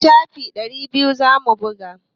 Littafi ɗari biyu za mu buga.